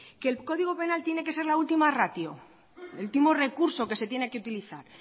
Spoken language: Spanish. que el código penal tiene que ser la última ratio el último recurso que se tiene que utilizar